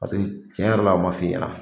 Paseke tiɲɛ yɛrɛ la, a ma fɔ i ɲɛna.